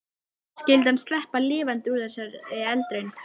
Skyldi hann sleppa lifandi úr þessari eldraun?